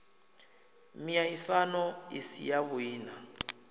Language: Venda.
miaisano i si yavhui na